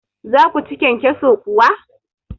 za ku ci kyankyaso kuwa?